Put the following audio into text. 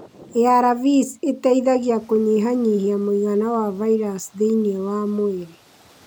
ARVs ĩteithagia kũnyihanyihia mũigana wa virus thĩinĩ wa mwĩrĩ.